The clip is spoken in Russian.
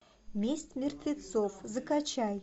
месть мертвецов закачай